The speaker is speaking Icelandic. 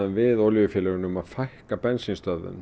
við olíufélögin um að fækka bensínstöðvum